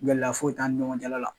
Gɛlɛya foyi' tɛ ani ɲɔgɔn cɛ la la.